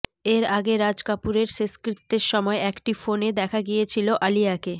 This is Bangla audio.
এর আগে রাজ কাপুরের শেষকৃত্যের সময় একটি ফোনে দেখা গিয়েছিল আলিয়াকে